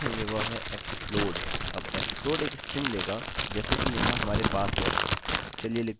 अब explode एक string लेगा जैसे कि यहाँ हमारे पास है